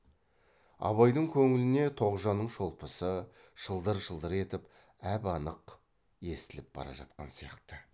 абайдың көңіліне тоғжанның шолпысы шылдыр шылдыр етіп әп анық естіліп бара жатқан сияқты